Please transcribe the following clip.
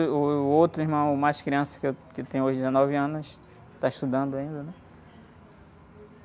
E, uh, o outro irmão, o mais criança, que eu, que tem, hoje, dezenove anos, está estudando ainda, né?